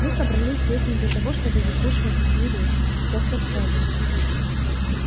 мы собрались здесь не для того чтобы выслушивать такие речи доктор сэлдон